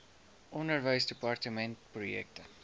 onderwysdepartementprojekte